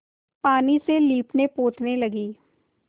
पानी से लीपनेपोतने लगी